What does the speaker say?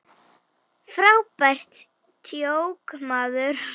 Frábært djók, maður!